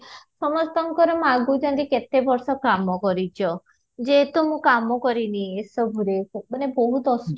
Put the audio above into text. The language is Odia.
ସମସ୍ତଙ୍କ ମାଗୁଛନ୍ତି କେତେ ବର୍ଷ କାମ କରିଛ ଯେ ତ ମୁଁ କାମ କଲିଣି ଏସବୁ ରେ ମାନେ ବହୁତ ଅସୁ